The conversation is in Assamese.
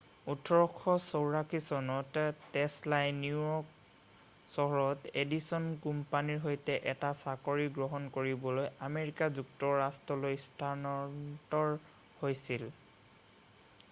1884 চনত টেছলাই নিউয়ৰ্ক চহৰত এডিছন কোম্পানীটোৰ সৈতে এটা চাকৰি গ্ৰহণ কৰিবলৈ আমেৰিকা যুক্তৰাষ্ট্ৰলৈ স্থানান্তৰণ হৈছিল